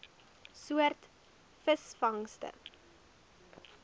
soort visvangste